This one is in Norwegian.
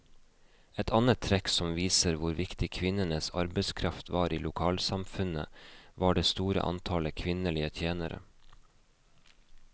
Et annet trekk som viser hvor viktig kvinnenes arbeidskraft var i lokalsamfunnet, var det store antallet kvinnelige tjenere.